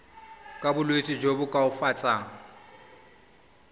ka bolwetsi jo bo koafatsang